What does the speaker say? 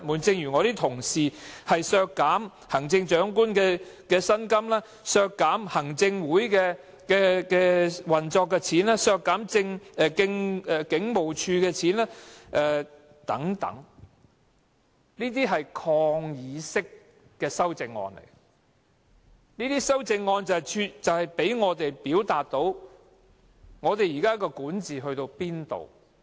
正如我的同事建議削減行政長官的薪金、行政會議運作的開支或警務處的開支等，都是抗議式的修正案，讓我們表達現時的管治水平如何。